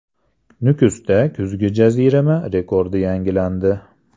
Nukusda kuzgi jazirama rekordi yangilandi.